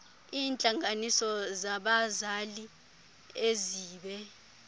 iintlanganiso zabazali ezibe